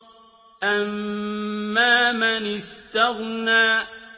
أَمَّا مَنِ اسْتَغْنَىٰ